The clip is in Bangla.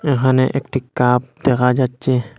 এহানে একটি কাপ দেখা যাচ্চে।